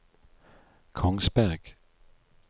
Kongsberg